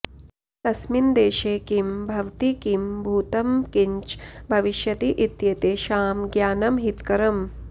कस्मिन् देशे किं भवति किं भूतं किञ्च भविष्यति इत्येतेषां ज्ञानम् हितकरम्